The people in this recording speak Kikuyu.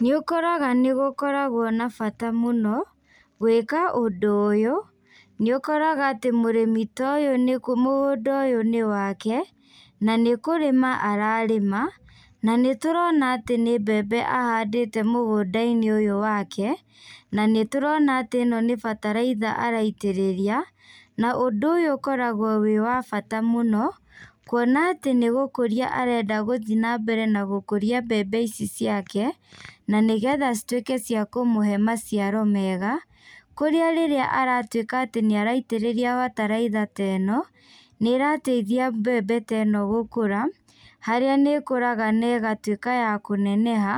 Nĩ ũkoraga nĩ gũkoragwo na bata mũno gwĩka ũndũ ũyũ. Nĩ ũkoraga atĩ mũrĩmi ta ũyũ mũgũnda ũyũ nĩ wake, na nĩ kũrĩma ararĩma. Na nĩ tũrona atĩ nĩ mbembe ahandĩte mũgũnda-inĩ ũyũ wake. Na nĩ tũrona ĩno nĩ bataraitha araitĩrĩria, na ũndũ ũyũ ũkoragwo wĩ wa bata mũno. Kuona atĩ nĩ gũkũria arenda gũthiĩ na mbere na gũkũria mbembe ici ciake, na nĩgetha cituĩke cia kũmũhe maciaro mega. Kũrĩa rĩrĩa aratuĩka atĩ nĩ araitĩrĩria bataraitha ta ĩno, nĩ ĩrateithia mbembe ta ĩno gũkũra. Harĩa nĩ ĩkũraga na ĩgatuĩka ya kũneneha